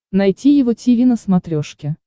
найти его тиви на смотрешке